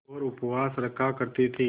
और उपवास रखा करती थीं